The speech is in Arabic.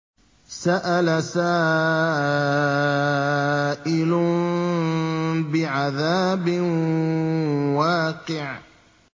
سَأَلَ سَائِلٌ بِعَذَابٍ وَاقِعٍ